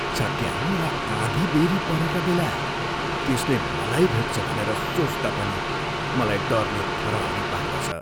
चट्याङ र आँधी बेह्री परेका बेला त्यसले मलाई भेट्छ भनेर सोच्दा पनि मलाई डरले थरहरी पार्दछ।